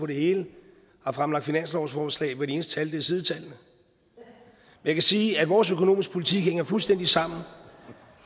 det hele har fremlagt finanslovsforslag hvor de eneste tal er sidetallene jeg kan sige at vores økonomiske politik hænger fuldstændig sammen